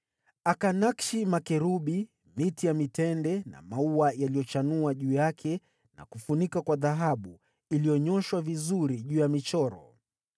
Akanakshi makerubi, miti ya mitende na maua yaliyochanua juu yake na kufunika kwa dhahabu iliyonyooshwa vizuri juu ya michoro.